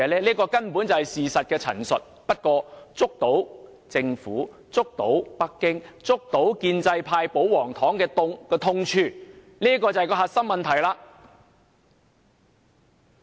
這根本是事實的陳述，但卻觸及政府、北京、建制派和保皇黨的痛處，這才是核心問題。